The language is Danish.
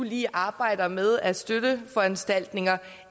lige arbejder med af støtteforanstaltninger